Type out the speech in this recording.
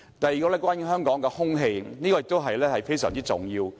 第二，關於香港的空氣，這也非常重要。